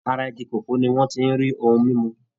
Ara igi kòkó ni wọ́n ti ń rí ohun mímú.